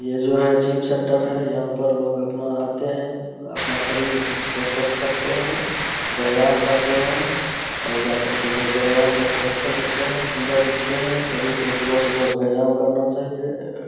ये जो है जिम सेंटर है यहाँ पर लाेेग अपना आते हैं अपना शरीर को स्‍वस्‍थ्‍य रखते हैं व्‍यायाम करते हैं और जाकर के जो व्‍यायाम करके अच्‍छे दिखते हैं सुन्दर दिखते हैं सभी को सुबह-सुबह व्‍यायाम करना चाहिए।